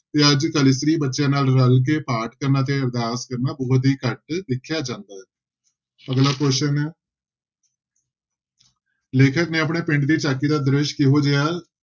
ਤੇ ਬੱਚਿਆਂ ਨਾਲ ਰਲ ਕੇ ਪਾਠ ਕਰਨਾ ਤੇ ਅਰਦਾਸ ਕਰਨਾ ਬਹੁੁਤ ਹੀ ਘੱਟ ਦੇਖਿਆ ਜਾਂਦਾ ਹੈ ਅਗਲਾ question ਹੈ ਲੇਖਕ ਨੇ ਆਪਣੇ ਪਿੰਡ ਦੀ ਝਾਕੀ ਦਾ ਦ੍ਰਿਸ਼ ਕਿਹੋ ਜਿਹਾ